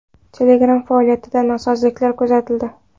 Telegram faoliyatida nosozliklar kuzatildi.